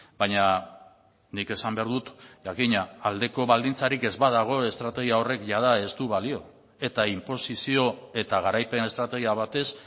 baina nik esan behar dut jakina aldeko baldintzarik ez badago estrategia horrek jada ez du balio eta inposizio eta garaipen estrategia batez